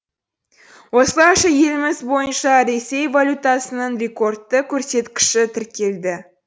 осылайша еліміз бойынша ресей валютасының рекордты көрсеткіші тіркелді